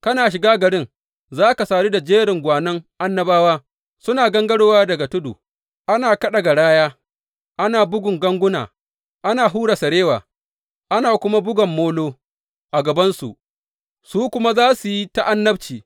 Kana shiga garin, za ka sadu da jerin gwanon annabawa suna gangarowa daga tudu, ana kaɗa garaya, ana bugan ganguna, ana hura sarewa, ana kuma bugan molo, a gabansu, su kuma za su yi ta annabci.